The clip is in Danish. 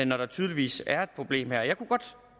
når der tydeligvis er et problem her jeg kunne godt